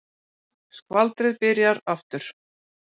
Skvaldrið byrjar aftur.